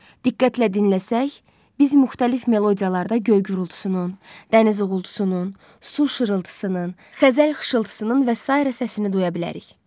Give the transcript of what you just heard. Diqqətlə dinləsək, biz müxtəlif melodiyalarda göy gürultusunun, dəniz uğultusunun, su şırıltısının, xəzəl xışıltısının və sairə səsini duya bilərik.